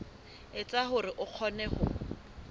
etsa hore o kgone ho